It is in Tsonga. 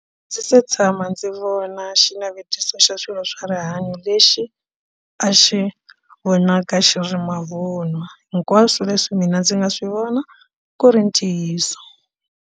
A ndzi se tshama ndzi vona xinavetiso xa swilo swa rihanyo lexi a xi vonaka xi ri mavunwa hinkwaswo leswi mina ndzi nga swi vona ku ri ntiyiso.